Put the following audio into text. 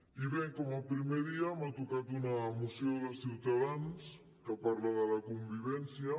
i bé com a primer dia m’ha tocat una moció de ciutadans que parla de la convivència